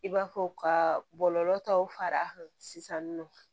I b'a fɔ ka bɔlɔlɔ taw fara a kan sisan nɔ